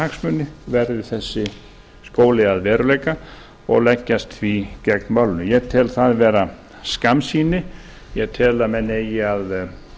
hagsmuni verði þessi skóli að veruleika og leggjast því gegn málinu ég tel það vera skammsýni ég tel að menn eigi að